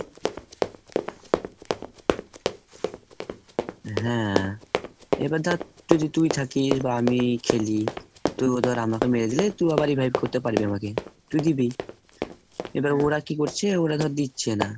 হ্যাঁ এবার ধর যদি তুই থাকিস বা আমি খেলি, তুই ওদের আমাকে মেরে দিলে, তুই আবার revive করতে পারবি আমাকে। তুই দিবি। এবার ওরা কি করছে? ওরা ধর দিচ্ছে না।